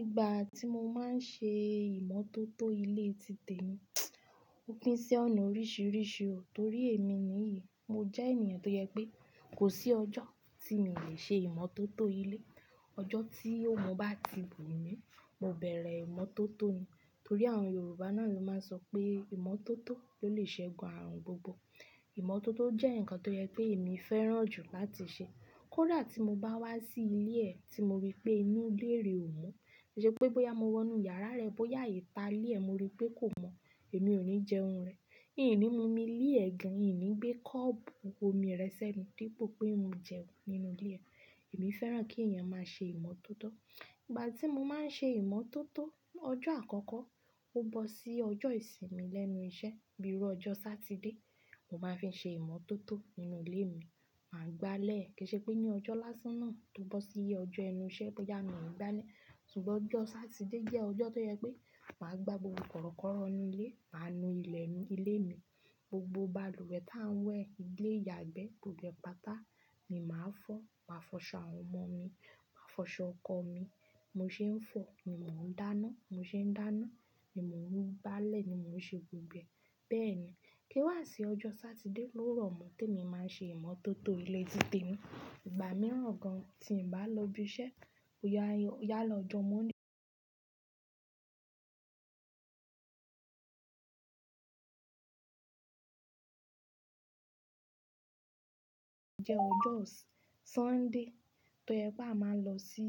Ìgbà tí mo máa ń ṣe ìmọ́tótó ilé ti tẹ̀ mí. Ó pín sí ọ̀nà oríṣiríṣi o. Torí èmi ní yìí, mo jẹ́ ènìyàn tó yẹ pé kò sí ọjọ́ tí mi lè ṣe ìmọ́tótó ilé. Ọjọ́ tí òun bá ti bù mí, mo bẹ̀rẹ̀ ìmọ́tótó ni. Torí àwọn Yorùbá náà ló máa ń sọ pé ìmọ́tótó ló lè ṣẹ́gun ààrùn gbogbo. Ìmọ́tótó jẹ́ nǹkan tó yẹ pé èmi fẹ́ràn jù láti ṣe. Kódà tí mo bá wá sí ilé ẹ ti mo rí pé inú ilé rẹ ò mo, ṣe pé bóyá mo wọ inú yàrá rẹ, bóyá ìta ilé ẹ mo rí pé kò mọ́, èmi ò ní jẹ oúnjẹ rẹ. Ín ní mu omi líẹ̀ rẹ́ gan, yín ní gbé kọ́ọ̀bù omi rẹ sẹ́nu dípò pé mo jẹun nínú ilé ẹ. Èmi fẹ́ràn kí ẹ̀yàn máa ṣe ìmọ́tótó. Ìgbà tí mo máa ń ṣe ìmọ́tótó, ọjọ́ àkọ́kọ́ ó bọ́ sí ọjọ́ ìsinmi lẹ́nu iṣẹ́, bíi ọjọ́ Satide. Mo máa ń fi ṣe ìmọ́tótó nínú ilé mi, màá gbálẹ̀. Kì í ṣe pé ní ọjọ́ lásán náà tó bọ́ sí ọjọ́ ẹnu iṣẹ́ bóyá mi ò gbálẹ̀. Sugbọn ọjọ́ Satide jẹ́ ọjọ́ tó yẹ pé màá gbá gbogbo kọ̀rọ̀kọ́rọ́ nínú ilé, màá nu ilẹ̀ ilé mi. Gbogbo balùwẹ̀ tá ń wẹ̀ ilé yàgbẹ́, gbogbo ẹ̀ pàtà ni màá fọ. Màá fọṣọ àwọn ọmọ mi, màá fọṣọ ọkọ mi. Mo ṣe ń fọ ni mò ń dáná, mo ṣe ń dáná ni mò ń gbálẹ̀ ni mò ń ṣe gbogbo ẹ̀. Bẹ́ẹ̀ ni. Kí wá sí ọjọ́ Satide ló rọ̀ mọ́ tí èmi máa ń ṣe ìmọ́tótó ilé ti tẹ̀ mí. Ìgbà mìíràn gan tí ǹ bá lọ ibi iṣẹ́, ó yá lọ̀jọ́ Mọnde. Òun jẹ́ ọjọ́ S-Sunday tó yẹ pá máa ń lọ sí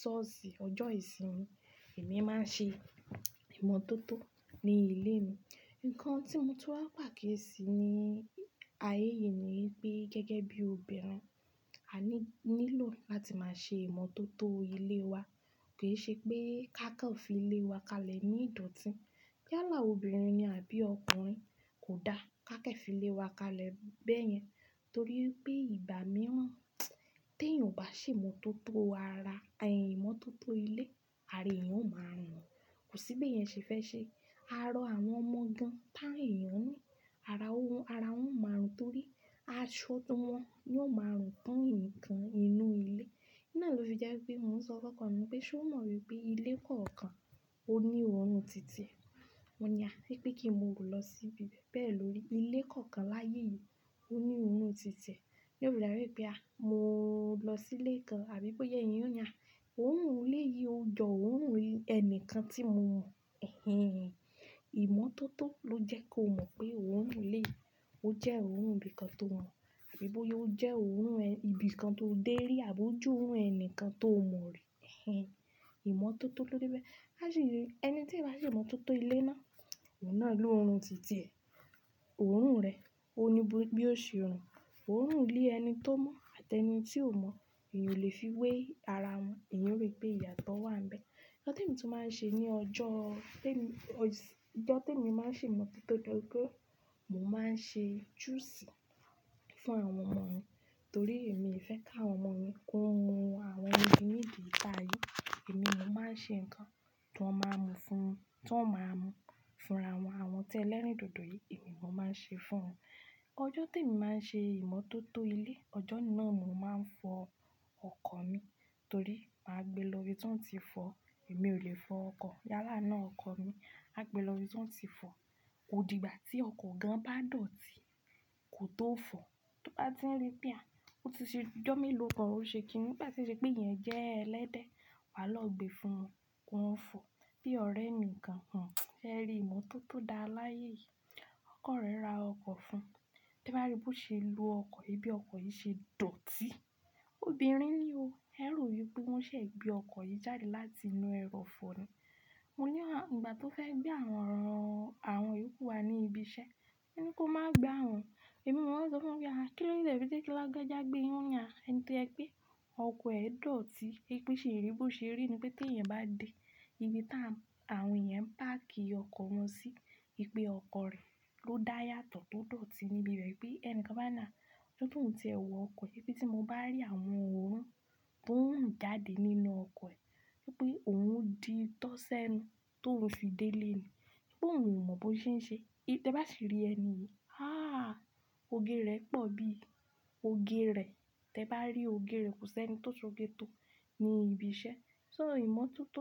sọ́ọ̀sì. Ọjọ́ ìsinmi èmi máa ń ṣe ìmọ́tótó ní ilé mi. Ǹkan tí mo túrá pàkí sí ní ayé yìí ni pé gẹ́gẹ́ bí obìnrin, a ní nílò láti máa ṣe ìmọ́tótó ilé wa. Kì í ṣe pé ká kàn fi ilé wa kalẹ̀ ní ìdọ̀tí. Yálà obìnrin ni àbí ọkùnrin kò dá ká kẹ̀ fi ilé wa kalẹ̀ bẹ́ẹ̀ yẹn. Torí pé ìgbà mìíràn tí èèyan o bá ṣe ìmọ́tótó ara, ẹ̀ ìmọ́tótó ilé, àra eyàn ó máa rùn. Kò sí bí ẹ̀ yẹn ṣe fẹ́ ṣe. Ara àwọn ọmọ gan tá ẹ̀yàn ní, ara ó wan, ara ò máa rùn torí a ṣó tó mọ́, yóò máa rùn tán ẹnìkan nínú ilé. Ǹná ló fi jẹ́ pé mò ń sọ fọ́kàn mi pé ṣé ó mọ̀ wípé ilé kankan ó ní òórùn títì ẹ? Mọ̀ ní à, wípé kí mò ó lọ sí ibi bẹ́ẹ̀ lórí. Ilé kankan láyé yìí ó ní òórùn títì ẹ. Ǹjẹ́ ò rí dára wípé a, mò lọ sí ilé kan àbí bóyá ìyẹn yóò na. Òórùn ilé yìí ó jọ Òórùn ẹnìkan tí mo mọ̀. Ẹ̀hẹn. Ìmọ́tótó ló jẹ́ kó mọ̀ pé òórùn ilé ó jẹ́ òórùn ibìkan tó wọ̀n. Àbí bóyá ó jẹ́ òórùn ibìkan tó dé rí àbò jú òórùn ẹni kan tó mọ̀ rí. Ẹ̀hẹn. Ìmọ́tótó ló dé bẹ́ẹ̀. A sì, ẹni tí ẹ̀ bá ṣe ìmọ́tótó ilé mo, òun náà ní òórùn títì ẹ. Òórùn rẹ̀, ó ní bí ó ṣe ń rùn. Òórùn ilé ẹni tó mọ̀ àti ẹni tí ò mọ̀, èèyan lè fi wé ara wọn. Èèyàn ó rí pé ìyàtọ̀ wà níbẹ̀. Ọ̀jọ̀ tí e mi tú máa ń ṣe ní ọjọ́ téè mi, ọ̀jọ̀ tí mo máa ń ṣe ìmọ́tótó jẹ́ pé mò máa ń ṣe juice fún àwọn ọmọ mi. Torí èmi fẹ́ káwọn ọmọ mi kó mu àwọn ohun inú ìdí itá yí. Èmi ò mú, màá ṣe nǹkan tó máa mú fún, tó máa mú fúnra wọn. Àwọn tí ẹlẹ́rìndòdò yìí, èmi ò mú, màá ṣe fún wọn. Ọ̀jọ̀ tí emk máa ń ṣe ìmọ́tótó ilé, ọjọ́ náà ni mò máa ń fọ ọkọ̀ mi. Torí màá gbé lọ rí tí òun ti fọ. Èmi ò ki n fọ ọwkoọ̀. Yálà náà ọkọ̀ mi, à gbé lọ rí tí òun ti fọ. Ó di ìgbà tí ọkọ̀ gan bá dọ̀tí kò tó fọ̀. Tó bá ti rí pé à, ó ti ṣe, ọjọ́ mi lò kọ̀, ó ṣe kì í ní. Bá ṣe ṣe pé ìyẹn jẹ́ ẹlẹ́dẹ̀, wàá lọ gbe fún wọn kó wọ́n fọ̀ bí ọ̀rẹ́ mi kan. Ẹ ri ìmọ́tótó dá láyé yìí. Ọkọ̀ rẹ́ ra ọkọ̀ fún, tí ẹ̀ bá rí bó ṣe ń lo ọkọ̀, bí ọkọ̀ yìí ṣe dọ̀tí. Obìnrin ni o. Ẹ rò wípé wọ́n ṣẹ̀ gbé ọkọ̀ yìí jáde láti inú ẹrọ̀fọ̀ ni. Mo ní wà, ìgbà tó fẹ́ gbé àwọn rọ̀ran àwọn ìrókò wa ní ibi iṣẹ́, mo ní kó má gbé àwọn. Èmi mo wọ́n sọ fún mi pé à, kí ló yẹ pé tí kí ló já gbé wọ́n yá? Ẹni tó yẹ pé ọkọ̀ ẹ dọ̀tí. Ipé ṣe ìrì bo ṣe rí ni pé tí ẹ̀yẹn bá dé ibi tá àwọn ìyẹn ń páàkì ọkọ̀ wọn sí, ìpè ọkọ̀ rẹ ló dá yàtọ̀ tó dọ̀tí níbi bẹ́ẹ̀. Pé ẹni kan bá nà, tótó ohun tí ẹ wọ ọkọ̀. Tí mo bá rí àwọn òórùn tó ń jáde nínú ọkọ̀ ẹ, pé òun di tọ́sẹ́nu tó ń fi dé ilé ni. Pé òun ò mọ̀ bó ṣe ń ṣe. Tí ẹ bá sì rí ẹni yìí, ah! Oge rẹ̀ pọ̀ bí. Oge rẹ̀, tí ẹ bá rí òge rẹ̀ kò sí ẹni tó so gé tó ní ibi iṣẹ́. So ìmọ́tótó.